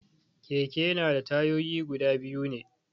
Keke na da tayoyi guda biyu ne